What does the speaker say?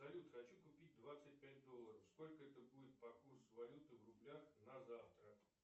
салют хочу купить двадцать пять долларов сколько это будет по курсу валюты в рублях на завтра